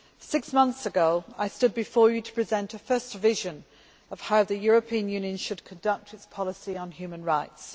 Six months ago I stood before you to present a first vision of how the European Union should conduct its policy on human rights.